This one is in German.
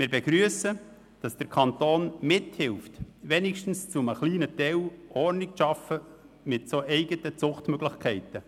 Wir begrüssen, dass der Kanton mit eigenen Zuchtstationen wenigstens etwas Ordnung schafft.